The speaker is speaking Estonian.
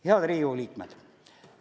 Head Riigikogu liikmed!